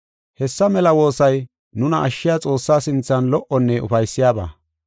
Hessa mela woosay nuna ashshiya Xoossaa sinthan lo77onne ufaysiyabaa.